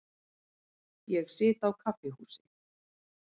Ég sit á kaffihúsi.